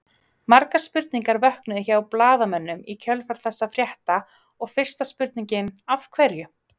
Margar spurningar vöknuðu hjá blaðamönnum í kjölfar þessa frétta og fyrsta spurningin Af hverju?